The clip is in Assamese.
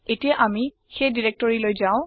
এতিয়া আামি সেই নিৰ্দেশিকা লৈ যাওঁ